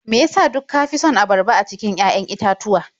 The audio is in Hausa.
Me ya sa duk ka fi son abarba a cikin 'ya'yan itatuwa?